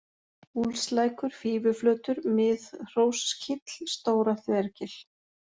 Úlfslækur, Fífuflötur, Miðhróskíll, Stóra-Þvergil